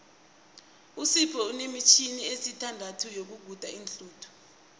usipho unemitjhini esithandathu yokuguda iinhluthu